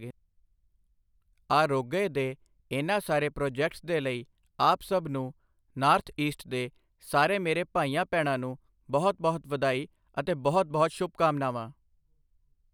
ਆਰੋਗਯ ਦੇ ਇਨ੍ਹਾਂ ਸਾਰੇ ਪ੍ਰੋਜੈਕਟਸ ਦੇ ਲਈ ਆਪ ਸਭ ਨੂੰ, ਨਾੱਰਥ ਈਸਟ ਦੇ ਸਾਰੇ ਮੇਰੇ ਭਾਈਆਂ ਭੈਣਾਂ ਨੂੰ ਬਹੁਤ ਬਹੁਤ ਵਧਾਈ ਅਤੇ ਬਹੁਤ ਬਹੁਤ ਸ਼ੁਭਕਾਮਨਾਵਾਂ।